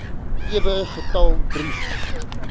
ewe getal brief